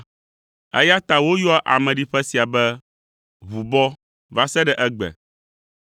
Eya ta woyɔa ameɖiƒe sia be, “Ʋubɔ” va se ɖe egbe.